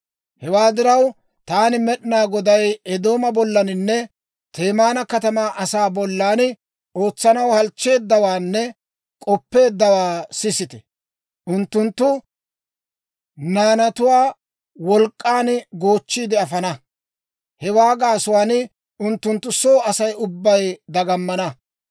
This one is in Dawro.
«Hewaa diraw, taani Med'inaa Goday Eedooma bollaninne Temaana katamaa asaa bollan ootsanaw halchcheeddawaanne k'oppeeddawaa sisite! Unttunttu naanatuwaa wolk'k'an goochchiide afana; hewaa gaasuwaan unttunttu soo Asay ubbay dagamana.